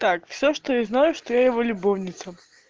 так всё что я знаю что я его любовница